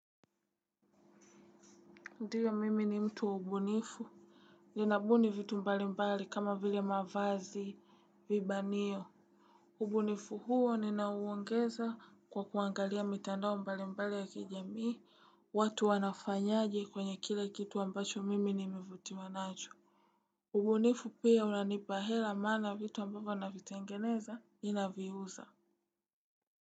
Ndiyo mimi ni mtu wa ubunifu. Ninabuni vitu mbali mbali kama vile mavazi vibanio. Ubunifu huo ninauongeza kwa kuangalia mitandao mbali mbali ya kijamii. Watu wanafanyaje kwenye kile kitu ambacho wamevutiwa nacho. Ubunifu pia unanipahela mana vitu ambayo na vitengeneza inaviuza.